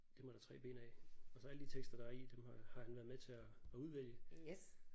Dem er der 3 bind af og så alle de tekster der er i dem har har han været med til at at udvælge